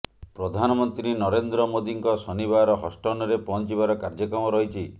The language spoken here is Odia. ପ୍ରଧାନମନ୍ତ୍ରୀ ନରେନ୍ଦ୍ର ମୋଦୀଙ୍କ ଶନିବାର ହଷ୍ଟନରେ ପହଞ୍ଚିବାର କାର୍ଯ୍ୟକ୍ରମ ରହିଛି